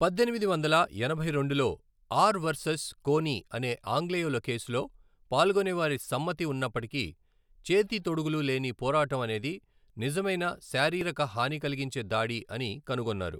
పద్దెనిమిది వందల ఎనభై రెండులో ఆర్ వర్సెస్ కోనీ అనే ఆంగ్లేయుల కేసులో, పాల్గొనేవారి సమ్మతి ఉన్నప్పటికీ, చేతి తొడుగులు లేని పోరాటం అనేది నిజమైన శారీరక హాని కలిగించే దాడి అని కనుగొన్నారు.